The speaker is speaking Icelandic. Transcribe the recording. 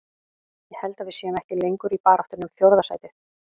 Ég held að við séum ekki lengur í baráttunni um fjórða sætið.